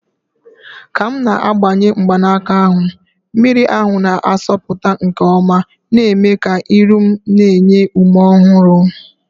Ka m na-agbanye mgbanaka ahụ, mmiri ahụ na-asọpụta nke ọma, na-eme ka ihu m na-enye ume ọhụrụ.